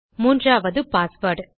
மூன்றாவது பாஸ்வேர்ட்